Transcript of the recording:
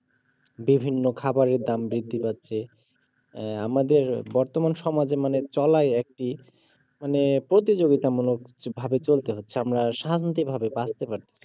বিভিন্ন খাবারের দাম বৃদ্ধি পাচ্ছে এর আমাদের বর্তমান সমাজে মানে চলাই একটি মানে প্রতিযোগিতা মুলকভাবে চলতে হচ্ছে আমরা শান্তিভাবে বাচতে পারছি না